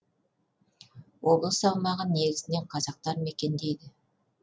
облыс аумағын негізінен қазақтар мекендейді